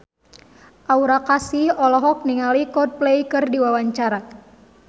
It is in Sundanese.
Aura Kasih olohok ningali Coldplay keur diwawancara